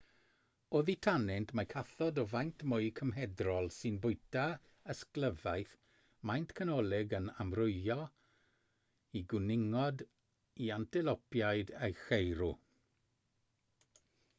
oddi tanynt mae cathod o faint mwy cymhedrol sy'n bwyta ysglyfaeth maint canolig yn amrywio o gwningod i antelopiaid a cheirw